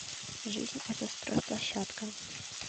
жизнь это стройплощадка